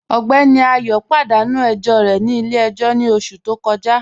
Ọgbẹ́ní Ayọ̀ padanu ẹ̀jọ rẹ̀ ni ilẹ̀-ẹ̀jọ̀ ni oṣù tó kọja.